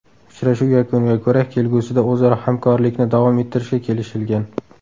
Uchrashuv yakuniga ko‘ra kelgusida o‘zaro hamkorlikni davom ettirishga kelishilgan.